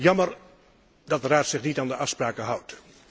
Jammer dat de Raad zich niet aan de afspraken houdt.